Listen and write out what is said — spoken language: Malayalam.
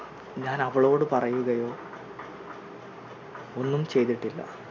ഞാൻ അവളോട് പറയുകയോ ഒന്നും ചെയ്തിട്ടില്ല